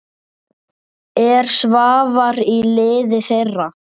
Er Svavar í liði þeirra?